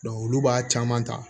olu b'a caman ta